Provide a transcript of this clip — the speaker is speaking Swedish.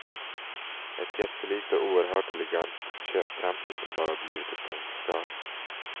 Ett jättelikt och oerhört elegant köptempel som bara blivit ett tomt skal.